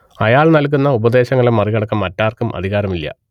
അയാൾ നൽകുന്ന ഉപദേശങ്ങളെ മറികടക്കാൻ മറ്റാർക്കും അധികാരമില്ല